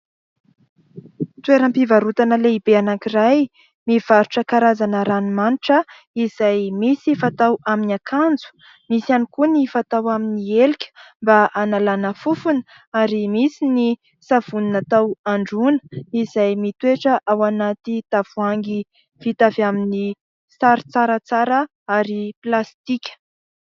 Toeram-pivarotana lehibe anankiray mivarotra karazana ranomanitra izay misy fatao amin'ny akanjo, misy ihany koa ny fatao amin'ny helika mba hanalana fofona, ary misy ny savony natao androana izay mitoetra ao anaty tavoahangy vita avy amin'ny sary tsaratsara ary plastika.